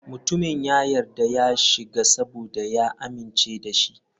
Mutumin ya yarda ya shiga saboda ya amince da shi.